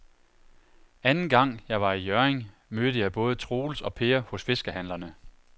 Anden gang jeg var i Hjørring, mødte jeg både Troels og Per hos fiskehandlerne.